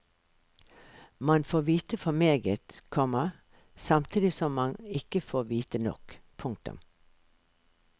Man får vite for meget, komma samtidig som man ikke får vite nok. punktum